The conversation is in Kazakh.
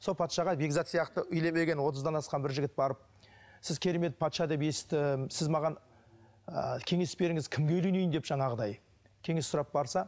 сол патшаға бекзат сияқты үйленбеген отыздан асқан бір жігіт барып сіз керемет патша деп естідім сіз маған ы кеңес беріңіз кімге үйленейін депті жаңағыдай кеңес сұрап барса